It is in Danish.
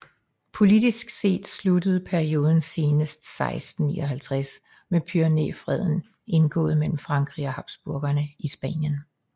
Politisk set sluttede perioden senest 1659 med Pyrenæerfreden indgået mellem Frankrig og Habsburgerne i Spanien